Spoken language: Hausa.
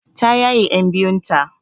Ta yaye ƴan biyun ta.